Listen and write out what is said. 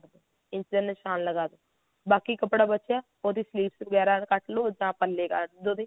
ਇਸਦਾ ਨਿਸ਼ਾਨ ਲਗਾ ਦੋ ਬਾਕੀ ਕੱਪੜਾ ਬਚਿਆ ਉਹਦੀ sleeves ਵਗੈਰਾ ਕੱਟ ਲਓ ਜਾਂ ਪੱਲੇ ਕੱਟ ਲਓ ਉਹਦੇ